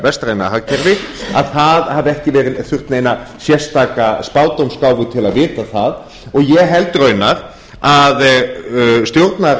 vestræna hagkerfi að það hafi ekki þurft neina sérstaka spádómsgáfu til að vita það ég held raunar að